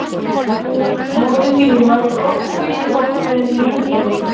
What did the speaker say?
Móðir mín varð oft fyrir vonbrigðum í lífinu.